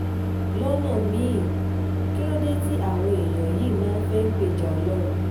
lọ́nà mí-ín kí ló dé tí àwọn èèyàn yìí máa ń fẹ́ẹ́ gbèjà ọlọ́run